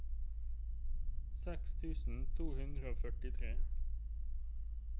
seks tusen to hundre og førtitre